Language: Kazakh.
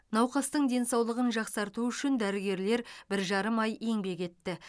науқастың денсаулығын жақсарту үшін дәрігерлер бір жарым ай еңбек етті